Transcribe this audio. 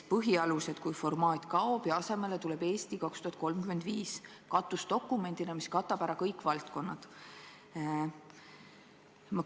Põhialused kui formaat kaob ja asemele tuleb "Eesti 2035" katusdokumendina, mis katab ära kõik valdkonnad.